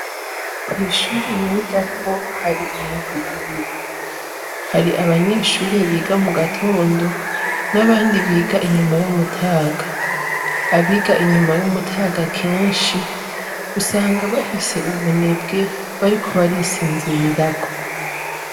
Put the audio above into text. Kw'ishure nigako, hari imigwi ibiri, hari abanyeshure biga mu gatondo n'abandi biga inyuma y'umutaga, abiga inyuma y'umutaga kenshi ,usanga bafise ubunebwe bariko barisinzirirako.